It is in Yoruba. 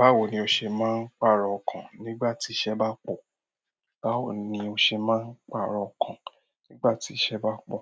Báwo ni o ṣe máa ń pàrọ̀ ọkàn nígbà tí iṣẹ́ bá pọ̀? Báwo ni o ṣe máa ń pàrọ̀ ọkàn nígbà tí iṣẹ́ bá pọ̀?